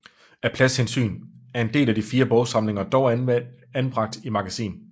Af pladshensyn er en del af de fire bogsamlinger dog anbragt i magasin